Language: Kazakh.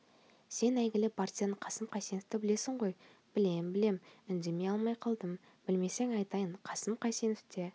сен әйгілі партизан қасым қайсеновты білесің ғой білем білем үндей алмай қалдым білмесең айтайын қасым қайсеновте